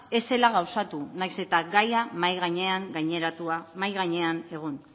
ez zela gauzatu nahiz eta gaia mahai gainean egon